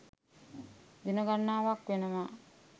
දින ගනනාවක් වෙනවා.